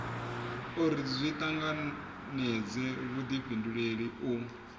uri zwi tanganedze vhudifhinduleli u